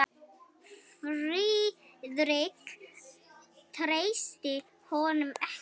Friðrik treysti honum ekki.